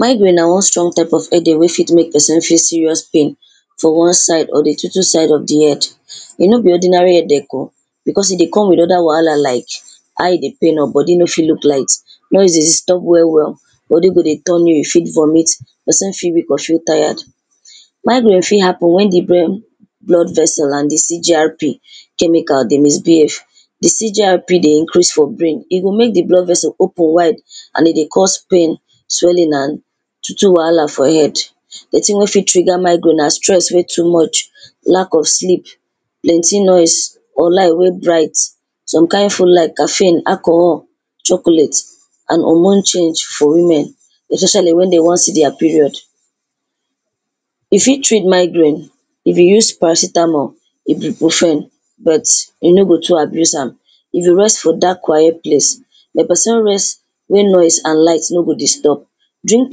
migraine na wan strong type of headache wey go fit make pesin feel serious pain for wan side of de two two side head,i nor be ordinary headache o becos i dey come with di other wahala like how i dey pain or body nor fit look light noise dey disturb well well body go dey turn you ,you fit vomit except few people feel tired migraine fit happen wen di brain blood vessel and CGRP chemical dey misbehave di CGRP dey increase for brain e go make di blood vessel open wide and e dey cause pain, swollen and to to wahala for head sometin wey fit trigger migraine na stress wey too much, lack of sleep dirty noise or light wey bright some kind food like caffene, alcohol chocolate and hormone change for women especially when dey wan see their period e fit treat migraine if you use paracetamol you go firm but, you no go too abuse am if you rest for dark quiet place you go fit rest wey noise and light nor go disturb drink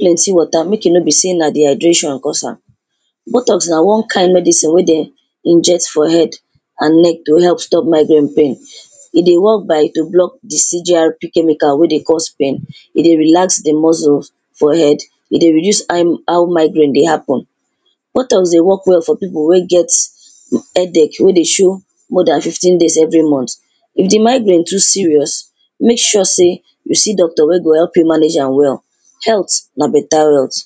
plenty water, make e nor be sey na dehydration cause am wataps na won kind medicine wey dey inject for head and neck go help stop migraine pain,e dey work by to block of CGRP chemical wey dey cause pain,e dey relax de muscle for head,e dey reduce how migraie dey happen wataps dey work well for pipo wey get headache wey dey show more than fifteen days every month if de miraie too serious make sure say you see doctor wey go help you manage am well health na beta runs